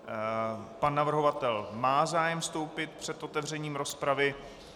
Pan navrhovatel má zájem vystoupit před otevřením rozpravy.